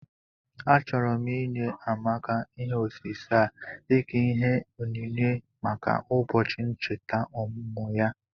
Achọrọ m inye Amaka ihe osise a dika ìhè ònyìnyé maka ụbọchị nchèta ọmụmụ ya